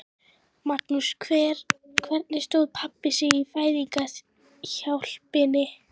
Magnús: Hvernig stóð pabbi sig í fæðingarhjálpinni?